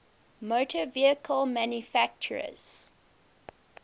motor vehicle manufacturers